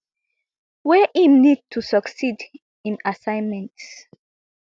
wey im need to succeed im assignment